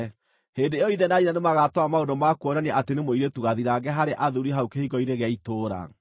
hĩndĩ ĩyo ithe na nyina nĩmagatwara maũndũ ma kuonania atĩ nĩ mũirĩtu gathirange harĩ athuuri hau kĩhingo-inĩ gĩa itũũra.